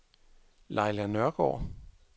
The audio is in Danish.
Laila Nørgaard